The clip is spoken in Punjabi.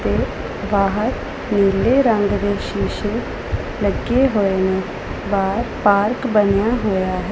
ਬਾਹਰ ਨੀਲੇ ਰੰਗ ਦੇ ਸ਼ੀਸ਼ੇ ਲੱਗੇ ਹੋਏ ਨੇ ਬਾਹਰ ਪਾਰਕ ਬਣਿਆ ਹੋਇਆ --